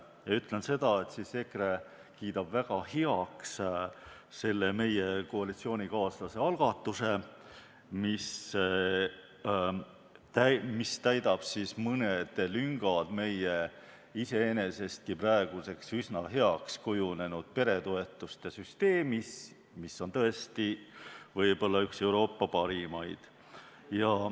Ja ütlen seda, et EKRE kiidab väga heaks koalitsioonikaaslase algatuse, mis täidab mõned lüngad meie iseenesest praeguseks üsna heaks kujunenud peretoetuste süsteemis, mis on tõesti võib-olla üks Euroopa parimaid.